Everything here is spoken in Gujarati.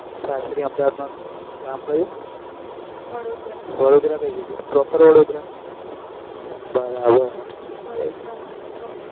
સાસરી અમદાવાદ માં ગામ કયું વડોદરા વડોદરા કઈ જગાએ proper વડોદરા બરાબર